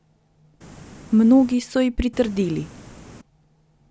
Mnogi so ji pritrdili.